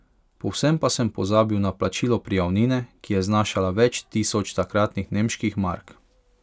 Povsem pa sem pozabil na plačilo prijavnine, ki je znašala več tisoč takratnih nemških mark.